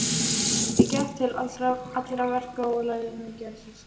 Ég gekk til allra verka og lærði mikið af systrunum.